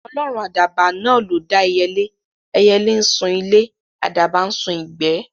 Ọlọ́run àdàbà náà ló dá ẹyẹlé; ẹyẹlé ńsun ilé, àdàbà ńsun ìgbẹ́